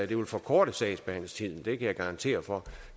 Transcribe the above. det vil forkorte sagsbehandlingstiden det kan jeg garantere for